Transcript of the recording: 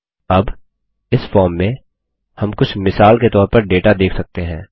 अब इस फॉर्म में हम कुछ मिसाल के तौर पर डेटा देख सकते हैं